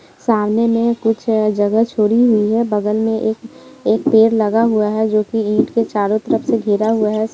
सामने में कुछ जगह छोड़ी हुई है बगल में एक एक पेड़ लगा हुआ है जो के ईंट के चारो तरफ से घेरा हुआ है।